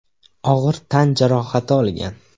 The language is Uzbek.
og‘ir tan jarohati olgan.